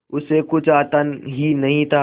उसे कुछ आता ही नहीं था